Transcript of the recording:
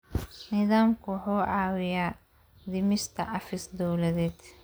Nidaamku wuxuu caawiyaa dhimista xafiis-dowladeed.